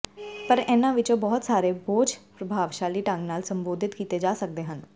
ਪਰ ਇਨ੍ਹਾਂ ਵਿੱਚੋਂ ਬਹੁਤ ਸਾਰੇ ਬੋਝ ਪ੍ਰਭਾਵਸ਼ਾਲੀ ਢੰਗ ਨਾਲ ਸੰਬੋਧਿਤ ਕੀਤੇ ਜਾ ਸਕਦੇ ਹਨ